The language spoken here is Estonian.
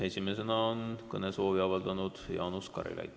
Esimesena on kõnesoovi avaldanud Jaanus Karilaid.